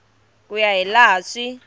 ku ya hi laha swi